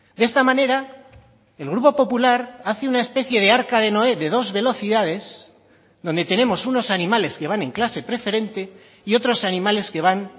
de esta manera el grupo popular hace una especie de arca de noé de dos velocidades donde tenemos unos animales que van en clase preferente y otros animales que van